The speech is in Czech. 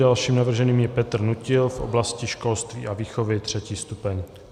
Dalším navrženým je Petr Nutil v oblasti školství a výchovy, 3. stupeň.